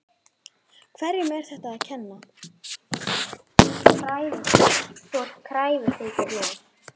Hverjum er þetta að kenna?